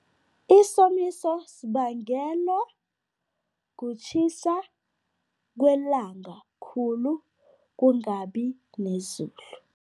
Isomiso sibangelwa kutjhisa kwelanga khulu, kungabi nezulu.